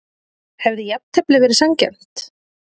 Hefði jafntefli verið sanngjarnt?